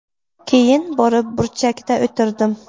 Keyin borib burchakda o‘tirdim.